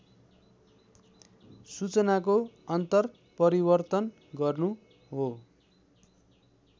सूचनाको अन्तरपरिवर्तन गर्नु हो